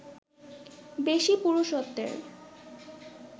বেশি পুরুষত্বের